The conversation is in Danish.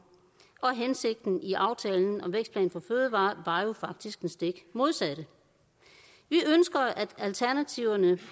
og hensigten i aftalen om vækstplan for fødevarer var jo faktisk det stik modsatte vi ønsker at alternativerne